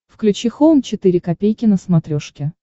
включи хоум четыре ка на смотрешке